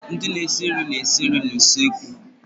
Ndị na-esi nri na-esi nri n'usekwu.